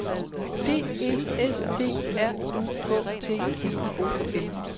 D E S T R U K T I O N